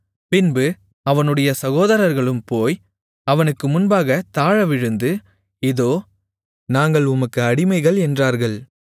பின்பு அவனுடைய சகோதரர்களும் போய் அவனுக்கு முன்பாகத் தாழவிழுந்து இதோ நாங்கள் உமக்கு அடிமைகள் என்றார்கள்